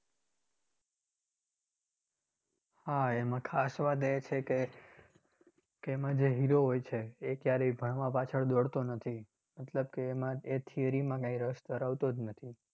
હા એમાં ખાસ વાત એ છે કે કે એમાં જે hero હોય છે એ ક્યારેય ભણવા પાછળ દોડતો નથી, મતલબ કે એમાં એ theory માં કાંઈ રસ ધરાવતો જ નથી.